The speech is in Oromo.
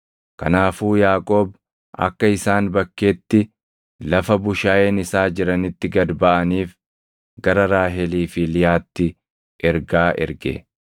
Kanaafuu Yaaqoob akka isaan bakkeetti lafa bushaayeen isaa jiranitti gad baʼaniif gara Raahelii fi Liyaatti ergaa erge.